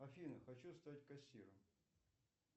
афина хочу стать кассиром